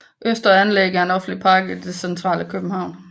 Østre Anlæg er en offentlig park i det centrale København